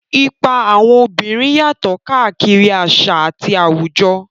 Ipa àwọn obìnrin yàtọ̀ káàkiri àṣà àti àwùjọ.